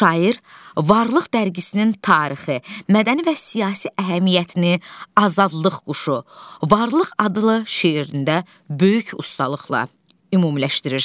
Şair Varlıq dərgisinin tarixi, mədəni və siyasi əhəmiyyətini "Azadlıq quşu", "Varlıq" adlı şeirində böyük ustalıqla ümumiləşdirir.